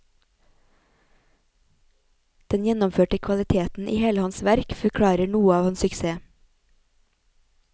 Den gjennomførte kvaliteten i hele hans verk forklarer noe av hans suksess.